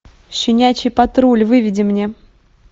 щенячий патруль выведи мне